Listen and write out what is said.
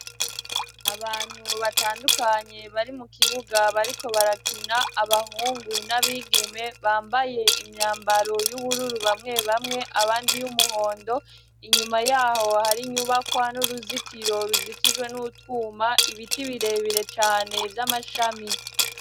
Abantu batandukanye bari mu kibuga bariko barakina, abahungu n'abigeme bambaye imyambaro y'ubururu bamwe bamwe abandi iy'umuhondo, inyuma ya ho hari inyubakwa n'uruzitiro ruzitijwe n'utwuma, ibiti birebire cane vy'amashami.